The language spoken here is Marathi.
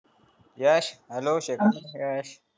यश hello